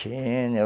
Tinha...